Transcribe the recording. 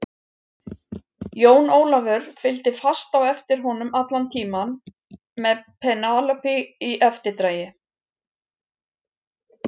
Jón Ólafur fylgdi fast á eftir honum allan tímann með Penélope í eftirdragi.